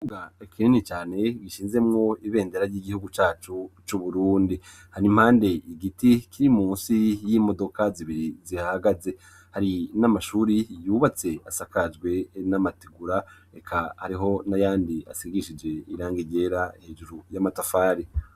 Ikibuga kinini cyane bishinzemwo ibendera ry'igihugu cyacu cy'uburundi hari impande igiti kiri munsi y'imodoka zibiri zihagaze hari n'amashuri yubatse asakazwe n'amategura, reka ariho n'a yandi asigishije iranga igera hejuru y'amatafari.